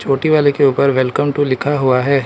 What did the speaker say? कोटी वाले के ऊपर वेलकम टू लिखा हुआ है।